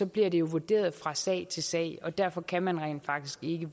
bliver det vurderet fra sag til sag og derfor kan man rent faktisk ikke